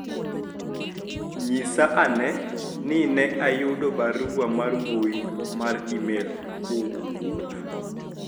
nyisa ane ni ne ayudo barua mar mbui mar email kowuok kuom ng'a